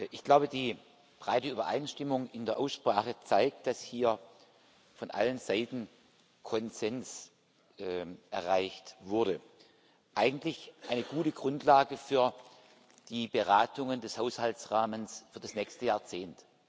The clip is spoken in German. Ich glaube, die breite Übereinstimmung in der Aussprache zeigt, dass hier von allen Seiten Konsens erreicht wurde eigentlich eine gute Grundlage für die Beratungen des Haushaltsrahmens für das nächste Jahrzehnt.